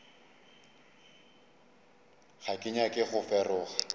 ga ke nyake go feroga